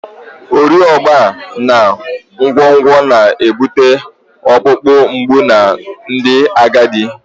Ọrịa ogbu na nkwonkwo na-ebute ọkpụkpụ mgbu na ndị agadi